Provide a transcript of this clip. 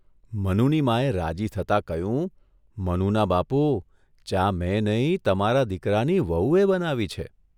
મનુની માં એ રાજી થતાં કહ્યું ' મનુના બાપુ, ચા મેં નહીં તમારા દીકરાની વહુએ બનાવી છે.